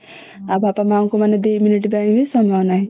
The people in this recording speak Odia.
ଆଉ ବାପା ମାଙ୍କୁ ମାନେ ଦି minute ପାଇଁ ବି ସମୟ ନାହିଁ